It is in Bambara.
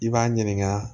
I b'a ɲininka